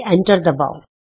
enter ਦਬਾਉ